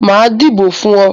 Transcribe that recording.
Màá dìbò fún ọ.